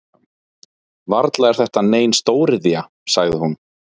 Varla er þetta nein stóriðja? sagði hún.